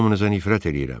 Hamınıza nifrət eləyirəm.